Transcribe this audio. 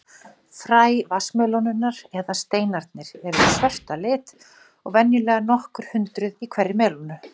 Fræ vatnsmelónunnar, eða steinarnir, eru svört að lit og venjulega nokkur hundruð í hverri melónu.